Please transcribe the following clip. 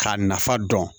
K'a nafa dɔn